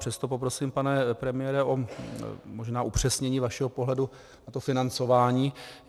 Přesto poprosím, pane premiére, možná o upřesnění vašeho pohledu, a to financování.